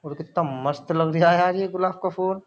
और कितना मस्त लग रहा है यार ये गुलाब का फूल।